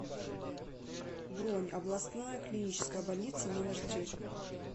бронь областная клиническая больница номер три